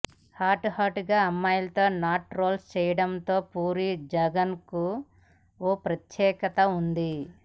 hot hot అమ్మాయిలతో నాటు rolls చేయించడంలో పూరి జగన్కు ఓ ప్రత్యేకత ఉంది